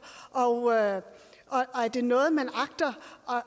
og er det noget man agter